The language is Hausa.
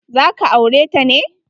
Za ka aure ta ne?